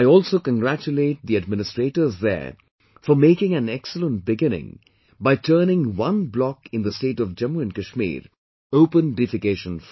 I also congratulate the administrators there for making an excellent beginning by turning one block in the state of Jammu and Kashmir open defecation free